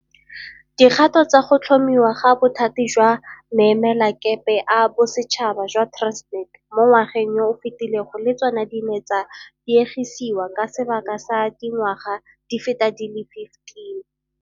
Dikgato tsa go tlhomiwa ga Bothati jwa Maemelakepe a Bosetšhaba jwa Transnet mo ngwageng yo o fetileng le tsona di ne tsa diegisiwa ka sebaka sa dingwaga di feta di le 15.